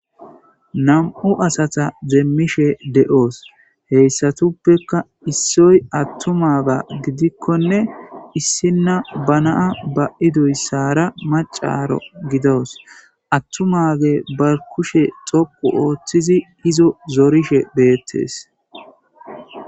Nam'u asata deemmishe de'oos heyssatuppekka issoy attumaga gidikkonne issinna banaa ba iduyssara macaro gidoos attumage ba kushe xoqu ooththizi izo zorishe beettes.